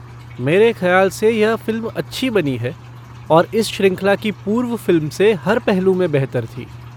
मेरे खयाल से यह फ़िल्म अच्छी बनी है, और इस श्रृंखला की पूर्व फ़िल्म से हर पहलू में बेहतर थी।